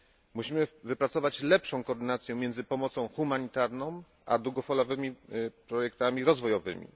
Musimy wypracować lepszą koordynację między pomocą humanitarną a długofalowymi projektami rozwojowymi.